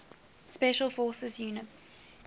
special forces units